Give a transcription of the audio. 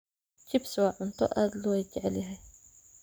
Chips waa cunto aad loo jecel yahay.